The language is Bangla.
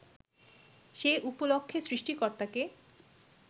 সে উপলক্ষে সৃষ্টিকর্তাকে